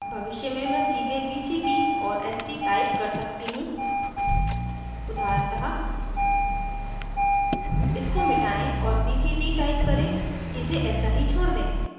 भविष्य में मैं सीधे bct और st type कर सकती हूँ उदाहरणतः इसको मिटायें और bct type करें इसे ऐसा ही छोड़ दें